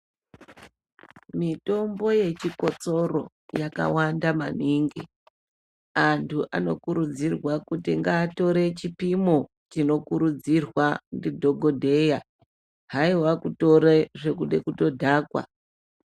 Mitombo yechikotsoro yakanaka maningi vantu vanokurudzirwa ngatore chipimo chinokurudzirwa ndidhokodheya haiwa kutore zvekuda kudhakwa.